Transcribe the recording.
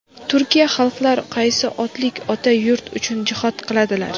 turkiy xalqlar qaysi otlik ota yurt uchun jihod qiladilar!.